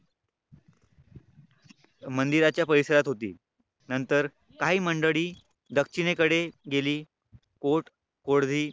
मंदिराच्या परिसरात होती. नंतर काही मंडळी दक्षिणेकडे गेली